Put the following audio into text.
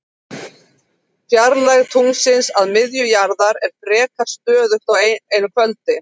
Fjarlægð tunglsins að miðju jarðar er frekar stöðug á einu kvöldi.